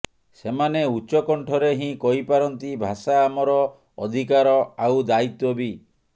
ସେମାନେ ଉଚ୍ଚ କଣ୍ଠରେ ହିଁ କହିପାରନ୍ତି ଭାଷା ଆମର ଅଧୀକାର ଆଉ ଦାୟିତ୍ବ ବି